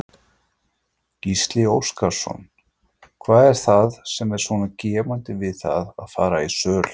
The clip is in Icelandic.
Gísli Óskarsson: Hvað er það sem er svona gefandi við það að fara í söl?